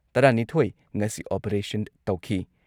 ꯇꯔꯥꯅꯤꯊꯣꯏ ꯉꯁꯤ ꯑꯣꯄꯔꯦꯁꯟ ꯇꯧꯈꯤ ꯫